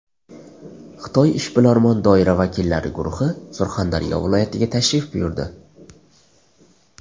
Xitoy ishbilarmon doira vakillari guruhi Surxondaryo viloyatiga tashrif buyurdi.